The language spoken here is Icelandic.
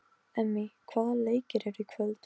Mundi ekki heldur hvaðan hún var til hennar komin.